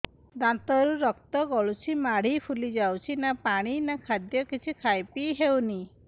ଦାନ୍ତ ରୁ ରକ୍ତ ଗଳୁଛି ମାଢି ଫୁଲି ଯାଉଛି ନା ପାଣି ନା ଖାଦ୍ୟ କିଛି ଖାଇ ପିଇ ହେଉନି